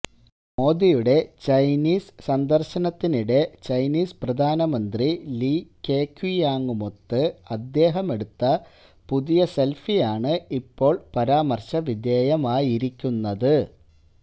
മോദിയുടെ ചൈനീസ് സന്ദര്ശനത്തിനിടെ ചൈനീസ് പ്രധാനമന്ത്രി ലീ കെക്വിയാങുമൊത്ത് അദ്ദേഹമെടുത്ത പുതിയ സെല്ഫിയാണ് ഇപ്പോള് പരാമര്ശവിധേയമായിരിക്കുന്നത്